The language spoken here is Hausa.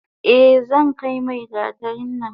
Eh zankai mai gatarin nan.